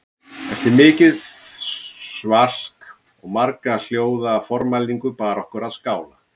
Eftir mikið svalk og marga hljóða formælingu bar okkur að skála